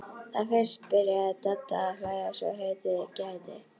Þá fyrst byrjaði Dadda að hlæja svo heitið gæti.